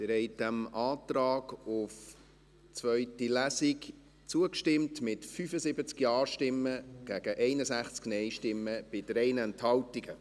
Sie haben dem Antrag auf eine zweite Lesung zugestimmt, mit 75 Ja- gegen 61 NeinStimmen bei 3 Enthaltungen.